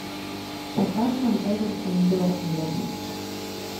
поставь нам эвертон бернли